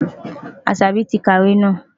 Asabi ti ka ìwé náà.